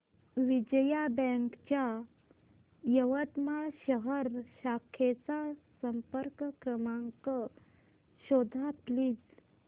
Vijaya bank च्या यवतमाळ शहर शाखेचा संपर्क क्रमांक शोध प्लीज